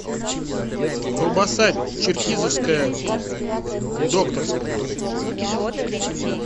колбаса черкизовская докторская